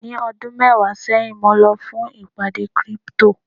ní ọdún mẹwàá sẹyìn mo lọ fún ìpàdé crypto